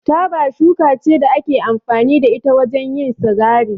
Taba shuka ce da ake amfani da ita wajen yin sigari.